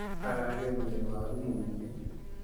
Aragethire waru mũingĩ